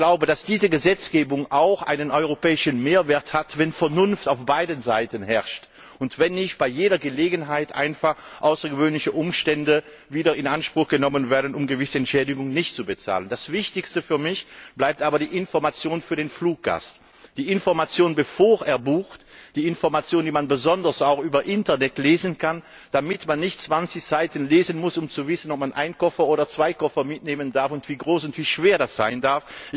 Ich glaube, dass diese Gesetzgebung auch einen europäischen Mehrwert hat, wenn Vernunft auf beiden Seiten herrscht, und nicht bei jeder Gelegenheit einfach außergewöhnliche Umstände in Anspruch genommen werden, um gewisse Entschädigungen nicht zu bezahlen. Das Wichtigste für mich bleibt aber die Information für den Fluggast. Die Information, bevor er bucht, die Information, die man besonders auch im Internet lesen kann, damit man nicht 20 Seiten lesen muss, um zu wissen, ob man einen oder zwei Koffer mitnehmen darf und wie groß und wie schwer der sein darf.